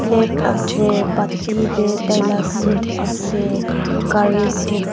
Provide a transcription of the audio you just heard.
plate ase pati tey taila soup ase curry soup .